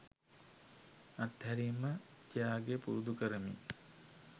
අත්හැරීම ත්‍යාගය පුරුදු කරමි.